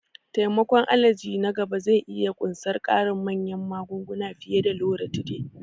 Taimakon allergy na gaba zai iya ƙunsar ƙarin manyan magunguna fiye da Loratiday.